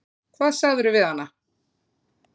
Hvað sagðirðu við hana?